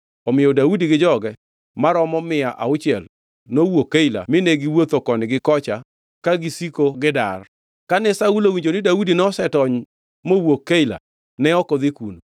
Omiyo Daudi gi joge maromo mia auchiel, nowuok Keila mine giwuotho koni gi kocha ka gisiko gidar. Kane Saulo owinjo ni Daudi nosetony mowuok Keila ne ok odhi kuno.